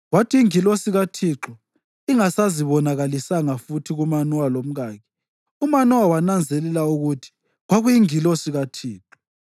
Kwathi ingilosi kaThixo ingasazibonakalisanga futhi kuManowa lomkakhe, uManowa wananzelela ukuthi kwakuyingilosi kaThixo.